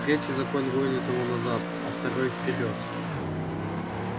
третий закон гонит его назад а второй вперёд